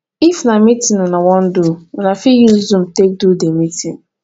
if na meeting una wan do una fit use zoom take do di meeting